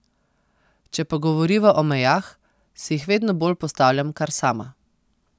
Če pa govoriva o mejah, si jih vedno bolj postavljam kar sama.